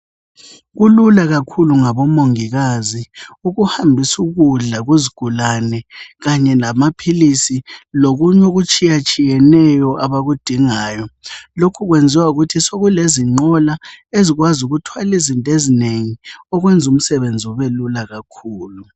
Kulula kakhulu ngabomongikazi ukuhambisa ukudla kuzigulane kanye lamaphilisi lokunye okutshiyatshiyeneyo abakudingayo. Lokhu kwenziwa yikuthi sokulezinqola ezikwazi ukuthwala izinto ezinengi okenza umsebenzi ubelula kakhulu.